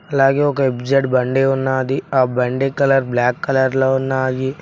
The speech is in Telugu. అలాగే ఒక ఎఫ్ జెడ్ బండి ఉన్నది ఆ బండి కలర్ బ్లాక్ కలర్ లో ఉన్నాయి.